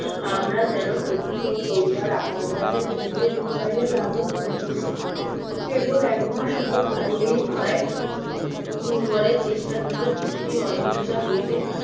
আমরা যেন প্রতিনিয়ত লইবার আঘাত তাকে ক্লিকাইয়া লুকাইয়া লালন করিতেছি কেবল একবার শুধু চাইলেই হয় দুর্বলের তেষ্টা থেকে তৃপ্তির অহিংসার হইতে